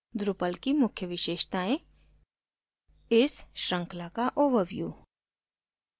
drupal की मुख्य विशेषताएं इस श्रृंखला का ओवरव्यू